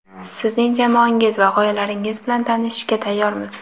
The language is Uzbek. sizning jamoangiz va g‘oyalaringiz bilan tanishishga tayyormiz.